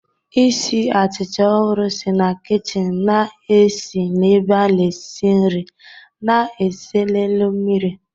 Isi achịcha ọhụrụ si na kichin na-esi n'ebe a na-esi nri na-ese n'elu mmiri.